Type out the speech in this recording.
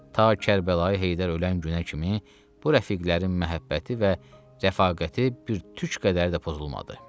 Ta Kərbəlayı Heydər ölən günə kimi bu rəfiqlərin məhəbbəti və rəfaqəti bir tük qədər də pozulmadı.